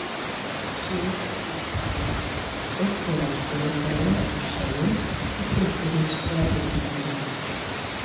Sumir yrðu látnir ganga beint niður af skólakerfinu á sjóinn, í frystihús eða byggingarvinnu.